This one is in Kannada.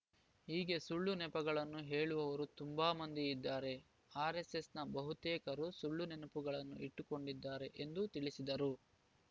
ಹೀಗೆ ಸುಳ್ಳು ನೆನಪುಗಳನ್ನು ಹೇಳುವವರು ತುಂಬಾ ಮಂದಿ ಇದ್ದಾರೆ ಆರೆಸ್ಸೆಸ್‌ನ ಬಹುತೇಕರು ಸುಳ್ಳು ನೆನಪುಗಳನ್ನು ಇಟ್ಟುಕೊಂಡಿದ್ದಾರೆ ಎಂದು ತಿಳಿಸಿದರು